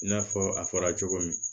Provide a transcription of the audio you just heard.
I n'a fɔ a fɔra cogo min